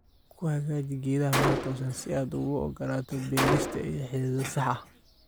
kuhagaji geedhaha meel tosan si aad ogu ogolato berista iyo xididhaha sax eeh